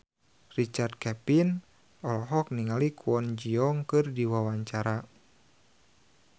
Richard Kevin olohok ningali Kwon Ji Yong keur diwawancara